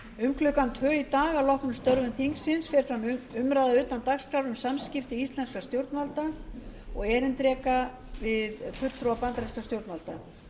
um klukkan tvö í dag að loknum störfum þingsins fer fram umræða utan dagskrár um samskipti íslenskra stjórnvalda og erindreka við fulltrúa bandarískra stjórnvalda